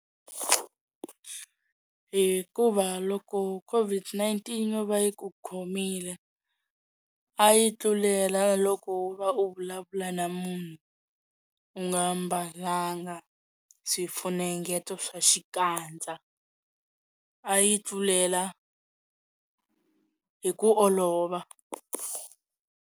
Hikuva loko COVID-19 yo va yi ku khomile a yi tlulela loko wo va u vulavula na munhu u nga mbalanga swifunengeto swa xikandza a yi tlulela hi ku olova.